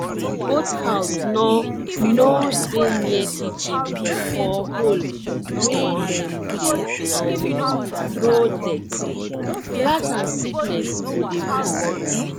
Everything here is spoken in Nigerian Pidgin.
goat house nor nor dey near kitchen or hole wey dem dey um throw dirty rat and sickness go dey visit